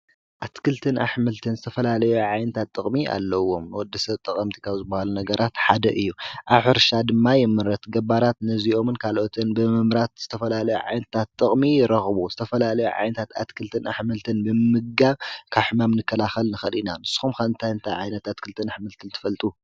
ኣትክልትን ኣሕመልትን ዝተፈላለዩ ዓይንታት ጥቕሚ ኣለዎም ወድሰብ ጠቐምቲ ከብ ዝብሃሉ ነገራት ሓደ እዩ አብሕርሻ ድማ ይምረት ገባራት ነዚይኦምን ካልኦትን ብምምራት ዝተፈላለዩ ዓይንታት ጥቕሚ ይረኽቡ ዝተፈላለዩ ዓይንታት ኣትክልትን ኣሕምልትን ብምምጋብ ካብ ሕማም ንከላኸል ንክእል ኢና ን ስኹም ከ ንታይ እንታ ዓይነት ኣትክልትን ኣሕምልትን ትፈልጡ?